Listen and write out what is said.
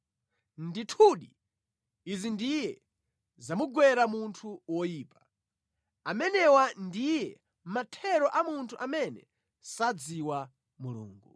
Ndithudi, izi ndiye zimagwera munthu woyipa; amenewa ndiye mathero a munthu amene sadziwa Mulungu.”